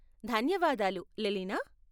ధన్యవాదాలు, లెలినా.